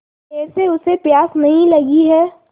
देर से उसे प्यास नहीं लगी हैं